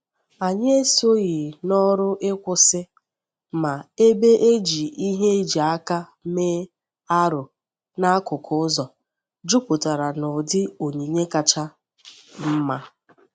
Anyị esoghị n’ọrụ ịkwụsị, ma ebe e ji ihe e ji aka mee arụ n'akụkụ ụzọ juputara n’ụdị onyinye kacha mma.